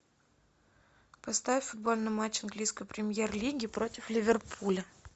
поставь футбольный матч английской премьер лиги против ливерпуля